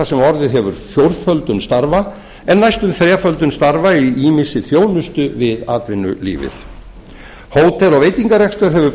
sem orðið hefur fjórföldun starfa en næstum þreföldun starfa í ýmissi þjónustu við atvinnulífið hótel og veitingarekstur hefur